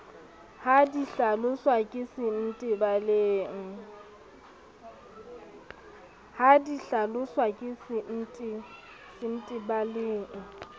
ha di hlaloswa ke sentebaleng